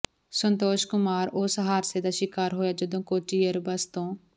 ਸੰਤੋਸ਼ ਕੁਮਾਰ ਉਸ ਹਾਦਸੇ ਦਾ ਸ਼ਿਕਾਰ ਹੋਇਆ ਜਦੋਂ ਕੋਚੀ ਏਅਰਬੇਸ ਤੋਂ